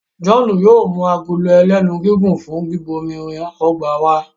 John yóò mú Agolo ẹlẹ́nu gígùn fún bíbomirin ọgbà wá.